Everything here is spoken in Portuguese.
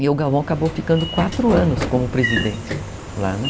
E o Galvão acabou ficando quatro anos como presidente lá, né?